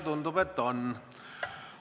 Tundub, et on.